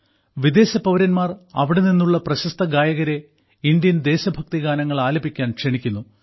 വിദേശ പൌരന്മാർ അവിടെ നിന്നുള്ള പ്രശസ്ത ഗായകരെ ഇന്ത്യൻ ദേശഭക്തി ഗാനങ്ങൾ ആലപിക്കാൻ ക്ഷണിക്കുന്നു